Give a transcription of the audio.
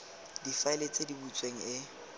difaele tse di butsweng e